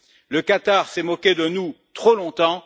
Le Qatar s'est moqué de nous, trop longtemps.